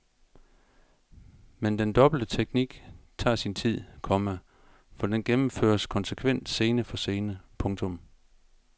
Men den dobbelte teknik tager sin tid, komma for den gennemføres konsekvent scene for scene. punktum